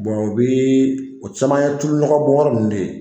o bɛ o caman ye tulunɔgɔbɔnyɔrɔ ninnu de ye